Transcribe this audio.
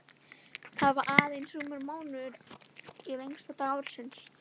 Það var aðeins rúmur mánuður í lengsta dag ársins.